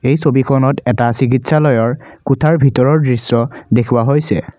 এই ছবিখনত এটা চিকিৎসালয়ৰ কোঠাৰ ভিতৰৰ দৃশ্য দেখুওৱা হৈছে।